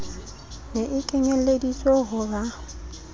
ne e kenyelleditswe ho ba